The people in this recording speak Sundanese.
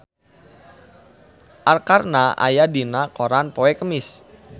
Arkarna aya dina koran poe Kemis